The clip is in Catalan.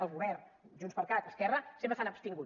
el govern junts per cat esquerra sempre s’han abstingut